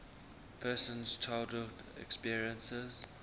person's childhood experiences